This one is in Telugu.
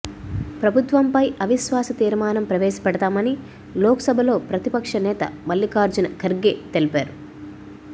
ప్రభుత్వంపై అవిశ్వాస తీర్మానం ప్రవేశపెడతామని లోక్సభలో ప్రతిపక్ష నేత మల్లికార్జున ఖర్గే తెలిపారు